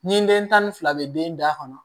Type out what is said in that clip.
Nin den tan ni fila bɛ den da kɔnɔ